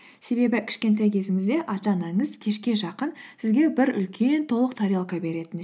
себебі кішкентай кезіңізде ата анаңыз кешке жақын сізге бір үлкен толық тарелка беретін